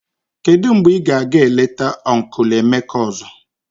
Kedu mgbe ị ga-aga eleta ọncụl Emeka ọzọ?